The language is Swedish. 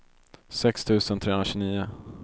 sex tusen trehundratjugonio